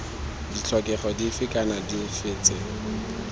ditlhokego dife kana dife tse